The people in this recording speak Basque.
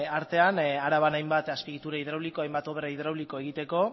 artean araban hainbat azpiegitura hidrauliko hainbat obra hidrauliko egiteko